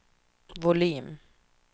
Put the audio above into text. volym